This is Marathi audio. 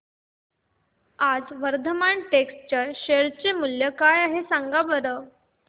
आज वर्धमान टेक्स्ट चे शेअर मूल्य काय आहे सांगा बरं